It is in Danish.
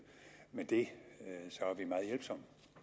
med det så